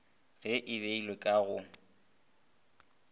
ge e beilwe ka go